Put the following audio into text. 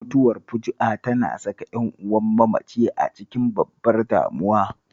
Mutuwar fuju'a tana saka ƴan'uwan mamaci a cikin babbar damuwa